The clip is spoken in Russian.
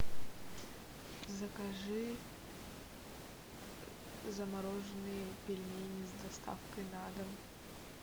закажи замороженные пельмени с доставкой на дом